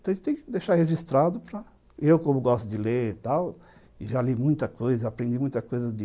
Então, a gente tem que deixar registrado para... Eu, como gosto de ler e tal, e já li muita coisa, aprendi muita coisa de...